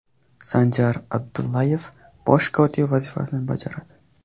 Sanjar Abdullayev bosh kotib vazifasini bajaradi.